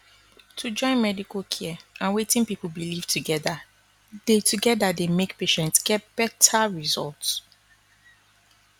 to join medical care and wetin people believe together dey together dey make patients get better results